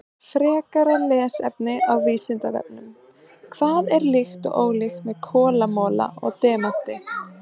Frekara lesefni á Vísindavefnum: Hvað er líkt og ólíkt með kolamola og demanti?